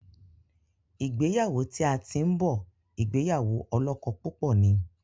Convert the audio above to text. ìgbéyàwó tí a tin bó ìgbéyàwó olókó púpò ní.